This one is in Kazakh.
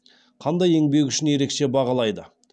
қандай еңбегі үшін ерекше бағалайды